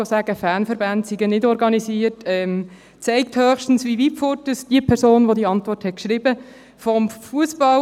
Zu sagen, Fanverbände seien nicht organisiert, zeigt höchstens, wie weit vom Fussball und vom Eishockey die Person entfernt ist, die diese Antwort geschrieben hat.